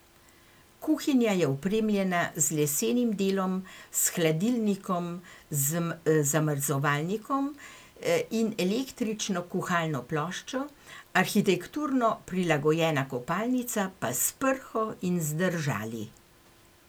Kuhinja je opremljena z lesenim delom, s hladilnikom z zamrzovalnikom in električno kuhalno ploščo, arhitekturno prilagojena kopalnica pa s prho in z držali.